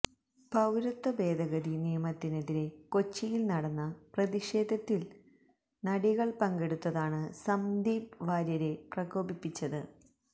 പൌരത്വ ഭേദഗതി നിയമത്തിനെതിരെ കൊച്ചിയില് നടന്ന പ്രതിഷേധത്തില് നടികള് പങ്കെടുത്തതാണ് സന്ദീപ് വാര്യരെ പ്രകോപിപ്പിച്ചത്